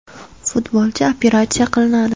Futbolchi operatsiya qilinadi.